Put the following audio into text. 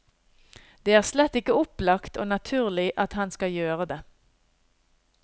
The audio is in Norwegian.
Det er slett ikke opplagt og naturlig at han skal gjøre det.